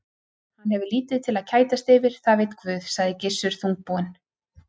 Hann hefur lítið til að kætast yfir, það veit Guð, sagði Gissur þungbúinn.